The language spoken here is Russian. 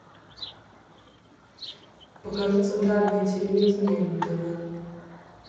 покажи центральное телевидение на тв